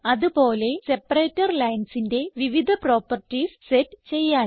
അത് പോലെ സെപ്പറേറ്റർ linesന്റെ വിവിധ പ്രോപ്പർട്ടീസ് സെറ്റ് ചെയ്യാൻ